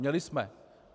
Měli jsme.